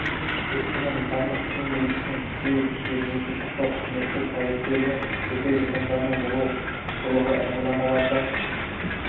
кескіні нысандық киім үлгісін кию ережесін сақтауы қызметтік куәліктері мен жеке жетондарының болуы ұқыптылығы эмблемаларды